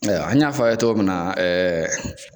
Ɛyiwa an y'a fɔ a ye togo min na ɛɛ